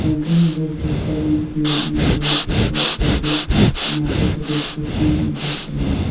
a green board with seventh B an I_T_B_P force tezu arunachal pradesh distance twenty five kilometre.